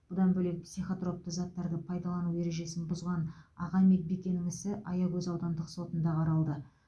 бұдан бөлек психотропты заттарды пайдалану ережесін бұзған аға медбикенің ісі аягөз аудандық сотында қаралды